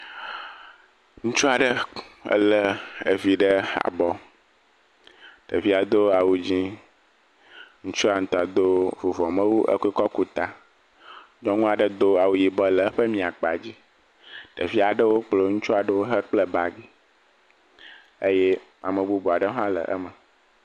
Ŋutsu aɖe lé evi ɖe abɔ. Ɖevia do awu dze, ŋutsua ŋutɔ do vuvɔmewu hetsɔ ku ta, nyɔnu aɖe do awu yibɔ le eƒe mia kpa dzi. Ɖevi aɖewo kplɔ ŋutsuɔ ɖo hekpla bagi eye ame bubu aɖe hã le eme.